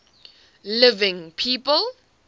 living people